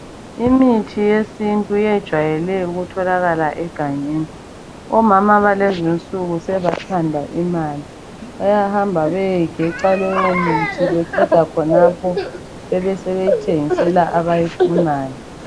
Imithi yesintu yejayele ukutholakala egangeni. Omama balezinsuku sebathanda imali bayahamba bayegeca bayomise beqeda khonapho besebethengisa abayifunayo.